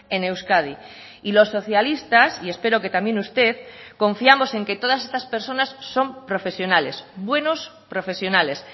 en euskadi y los socialistas y espero que también usted confiamos en que todas estas personas son profesionales buenos profesionales